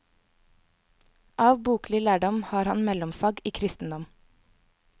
Av boklig lærdom har han mellomfag i kristendom.